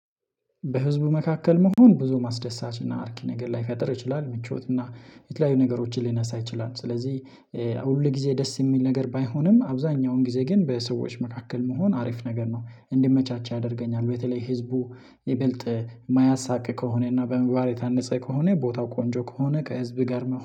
በህዝቡ መካከል መሆን ብዙም አስደሳች እና አርኪ ነገር ላይፈጠር ይችላል ምቾት እና የተለያዩ ነገሮችን ሊነሳ ይችላል። ስለዚህ ሁል ጊዜ ደስ የሚል ነገር ባይሆንም አብዛኛውን ጊዜ ግን በሰዎች መካከል መሆን አሪፍ ነገር ነው እንድመቻች ያደርገኛል። በተለይ ህዝቡ ይበልጥ የማያሳቅቅ ከሆነ እና በምግባር የታነጸ ከሆነ ቦታው ቆንጆ ከሆነ ከህዝብ ጋር